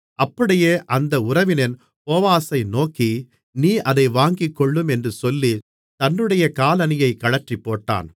அப்படியே அந்த உறவினன் போவாசை நோக்கி நீர் அதை வாங்கிக்கொள்ளும் என்று சொல்லி தன்னுடைய காலணியைக் கழற்றிப்போட்டான்